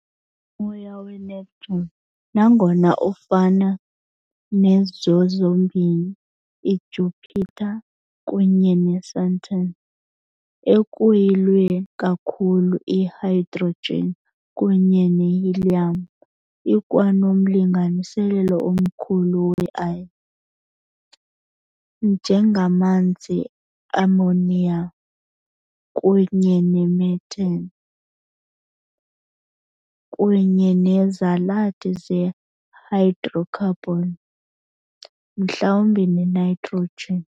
Umoya weNeptune, nangona ufana nezo zombini iJupiter kunye neSaturn ekuyilwe ikakhulu yihydrogen kunye nehelium, ikwanomlinganiselo omkhulu "we ice", njengamanzi, ammonia kunye ne methane, kunye nezalathi zehydrocarbons mhlawumbi nenitrogen.